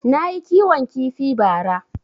Nayi kiwon kifi ba ra